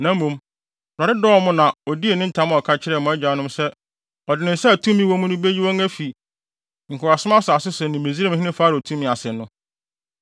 Na mmom, Awurade dɔɔ mo na odii ne ntam a ɔka kyerɛɛ mo agyanom sɛ ɔde ne nsa a tumi wɔ mu no beyi wɔn afi nkoasom asase so ne Misraimhene Farao tumi ase no.